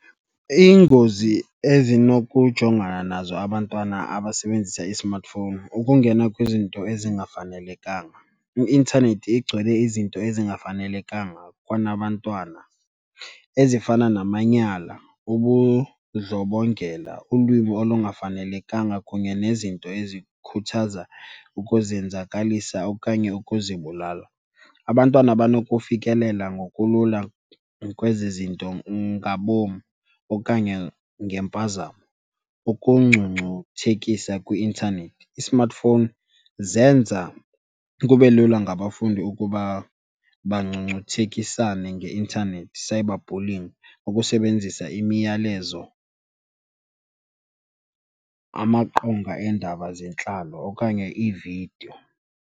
Iingozi ezinokujongana nazo abantwana abasebenzisa i-smartphone, ukungena kwizinto ezingafanelekanga, i-intanethi igcwele izinto ezingafanelekanga kunabantwana ezifana namanyala, ubundlobongela, ulwimi olungafanelekanga kunye nezinto ezikhuthaza ukuzenzakalisa okanye ukuzibulala. Abantwana banokufikelela ngokulula kwezi zinto ngabom okanye ngempazamo. Ukungcungcuthekisa kwi-intanethi, i-smartphone zenza kube lula ngabafundi ukuba bangcungcuthekisane ngeintanethi, cyberbullying, ukusebenzisa imiyalezo, amaqonga eendaba zentlalo okanye iividiyo.